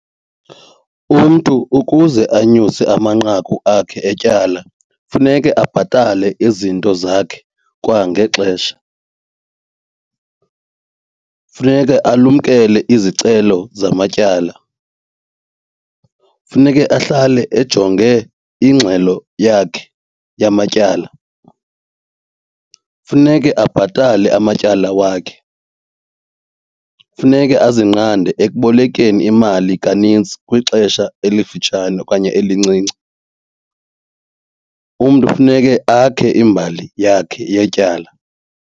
Umntu ukuze anyuse amanqaku akhe etyala funeke abhatale izinto zakhe kwangexesha. Funeke alumkele izicelo zamatyala. Funeke ahlale ejonge ingxelo yakhe yamatyala. Funeke abhatale amatyala wakhe. Funeke azingqande ekubolekeni imali kanintsi kwixesha elifutshane okanye elincinci. Umntu funeke akhe imbali yakhe yetyala.